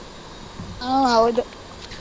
ಹ ಹೌದು.